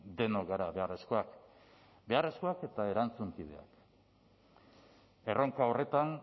denok gara beharrezkoak beharrezkoak eta erantzunkideak erronka horretan